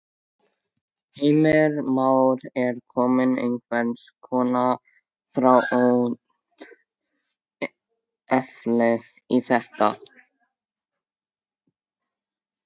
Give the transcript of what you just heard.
Heimir Már: Er komið einhvers konar þrátefli í þetta?